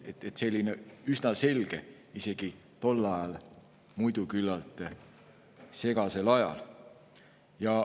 Ehk see kõik oli üsna selge isegi tol ajal, muidu küllaltki segasel ajal.